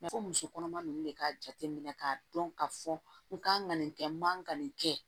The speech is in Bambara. ko muso kɔnɔma nunnu de ka jateminɛ k'a dɔn ka fɔ n kan ka nin kɛ n man nin kɛ